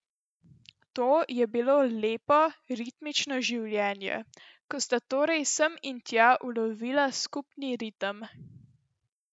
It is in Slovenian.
To je bilo lepo, ritmično življenje, ko sta torej sem in tja ulovila skupni ritem.